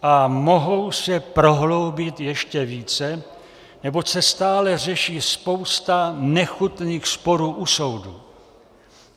A mohou se prohloubit ještě více, neboť se stále řeší spousta nechutných sporů u soudu.